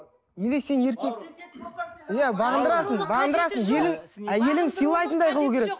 неге сен еркек иә бағындырасың бағындырасың әйелің сыйлайтындай қылу керек